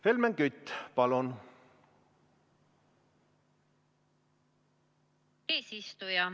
Helmen Kütt, palun!